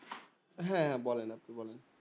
হ্যাঁ হ্যাঁ বলুন আপনি বলুন